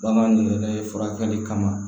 Bagan ni yɛrɛ ye furakɛli kama